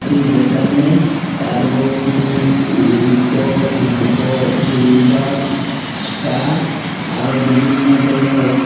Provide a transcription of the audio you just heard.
যেখানে turbo king লিংকো ফিনকো শিলবাল ষ্টার আরো বিভিন্ন ধরণের রং আ--